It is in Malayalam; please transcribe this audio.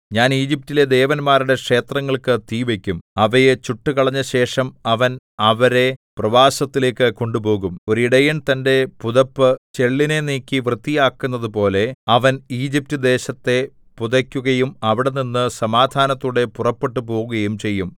ഞാൻ ഈജിപ്റ്റിലെ ദേവന്മാരുടെ ക്ഷേത്രങ്ങൾക്കു തീ വയ്ക്കും അവയെ ചുട്ടുകളഞ്ഞശേഷം അവൻ അവരെ പ്രവാസത്തിലേക്കു കൊണ്ടുപോകും ഒരിടയൻ തന്റെ പുതപ്പ് ചെള്ളിനെ നീക്കി വൃത്തിയാക്കുന്നതുപോലെ അവൻ ഈജിപ്റ്റ് ദേശത്തെ പുതയ്ക്കുകയും അവിടെനിന്നു സമാധാനത്തോടെ പുറപ്പെട്ടുപോകുകയും ചെയ്യും